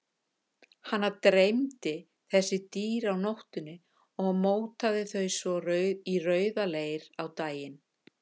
Hana dreymdi þessi dýr á nóttunni og mótaði þau svo í rauðaleir á daginn.